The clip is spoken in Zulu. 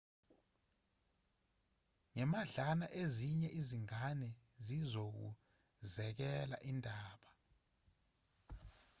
ngemadlana ezinye izingane zizokuzekela indaba